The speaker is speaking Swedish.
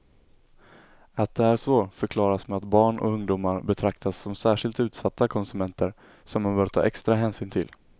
Att det är så förklaras med att barn och ungdomar betraktas som särskilt utsatta konsumenter, som man bör ta extra hänsyn till.